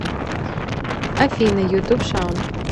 афина ютуб шаун